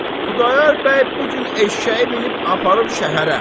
Xudayar bəy bu gün eşşəyi minib aparıb şəhərə.